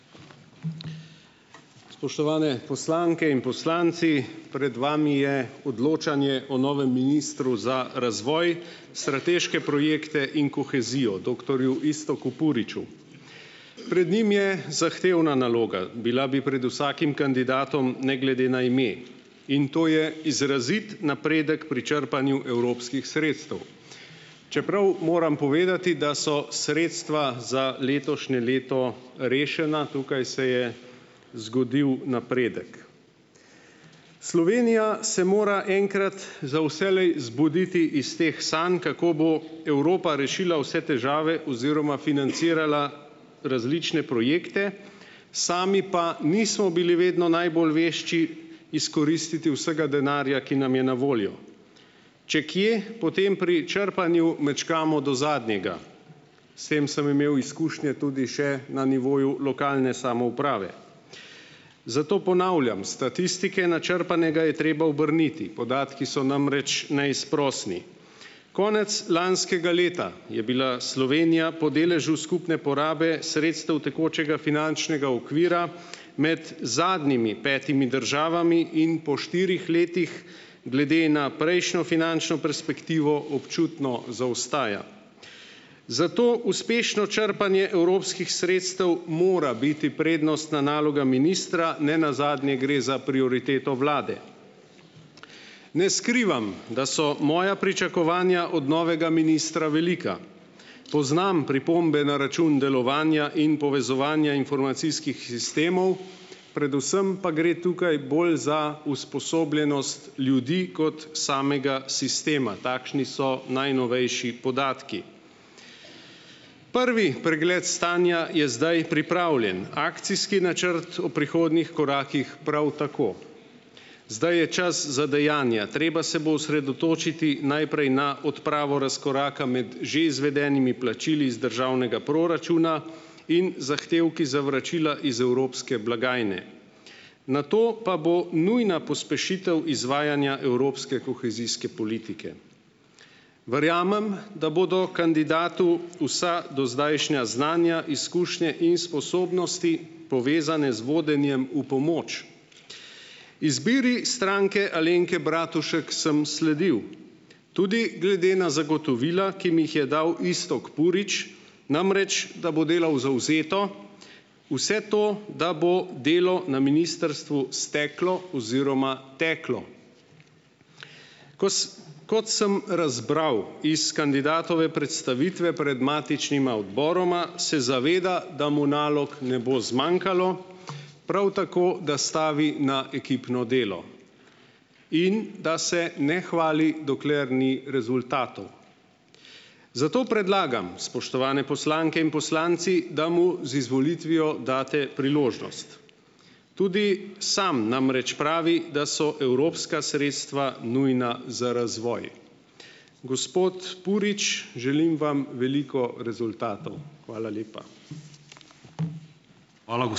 Spoštovane poslanke in poslanci! Pred vami je odločanje o novem ministru za razvoj, strateške projekte in kohezijo doktorju Iztoku Puriču. Pred njim je zahtevna naloga. Bila bi pred vsakim kandidatom ne glede na ime in to je izrazit napredek pri črpanju evropskih sredstev. Čeprav moram povedati, da so sredstva za letošnje leto rešena, tukaj se je zgodil napredek. Slovenija se mora enkrat za vselej zbuditi iz teh stanj, kako bo Evropa rešila vse težave oziroma financirala različne projekte, sami pa nismo bili vedno najbolj vešči izkoristiti vsega denarja, ki nam je na voljo. Če kje, potem pri črpanju mečkamo do zadnjega. S tem sem imel izkušnje tudi še na nivoju lokalne samouprave. Zato ponavljam, statistike načrpanega je treba obrniti, podatki so namreč neizprosni. Konec lanskega leta je bila Slovenija po deležu skupne porabe sredstev tekočega finančnega okvira med zadnjimi petimi državami in po štirih letih glede na prejšnjo finančno perspektivo občutno zaostaja. Zato uspešno črpanje evropskih sredstev mora biti prednostna naloga ministra, ne nazadnje gre za prioriteto vlade. Ne skrivam, da so moja pričakovanja od novega ministra velika. Poznam pripombe na račun delovanja in povezovanja informacijskih sistemov, predvsem pa gre tukaj bolj za usposobljenost ljudi kot samega sistema. Takšni so najnovejši podatki. Prvi pregled stanja je zdaj pripravljen. Akcijski načrt v prihodnjih korakih prav tako. Zdaj je čas za dejanja. Treba se bo osredotočiti najprej na odpravo razkoraka med že izvedenimi plačili z državnega proračuna in zahtevki za vračila iz evropske blagajne. Nato pa bo nujna pospešitev izvajanja evropske kohezijske politike. Verjamem, da bodo kandidatu vsa dozdajšnja znanja, izkušnje in sposobnosti, povezane z vodenjem, v pomoč. Izbiri Stranke Alenke Bratušek sem sledil, tudi glede na zagotovila, ki mi jih je dal Iztok Purič, namreč da bo delal zavzeto, vse to, da bo delo na ministrstvu steklo oziroma teklo. Kos. Kot sem razbral iz kandidatove predstavitve pred matičnima odboroma, se zaveda, da mu nalog ne bo zmanjkalo, prav tako, da stavi na ekipno delo in da se ne hvali, dokler ni rezultatov. Zato predlagam, spoštovane poslanke in poslanci, da mu z izvolitvijo date priložnost. Tudi sam namreč pravi, da so evropska sredstva nujna za razvoj. Gospod Purič, želim vam veliko rezultatov. Hvala lepa.